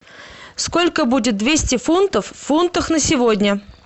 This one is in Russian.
сколько будет двести фунтов в фунтах на сегодня